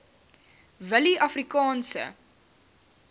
willieafrikaanse